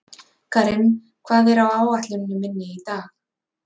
Karim, hvað er á áætluninni minni í dag?